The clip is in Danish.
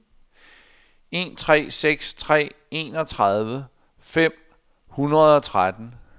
en tre seks tre enogtredive fem hundrede og tretten